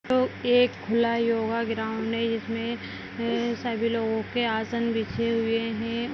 तो एक खुला योगा ग्राउंड है जिसमे ए सभी लोगो के आसन बिछे हुए हैं।